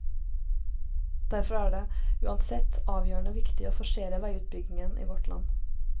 Derfor er det, uansett, avgjørende viktig å forsere veiutbyggingen i vårt land.